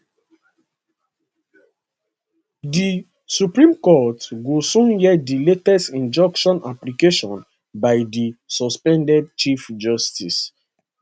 di supreme court go soon hear di latest injunction application by di suspended chief justice